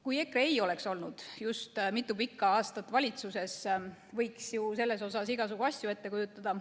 Kui EKRE ei oleks olnud just mitu pikka aastat valitsuses, võiks ju selles osas igasugu asju ette kujutada.